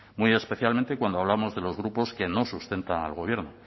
muy especialmente cuando hablamos de los grupos que no sustentan al gobierno